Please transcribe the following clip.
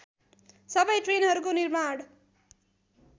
सबै ट्रेनहरूको निर्माण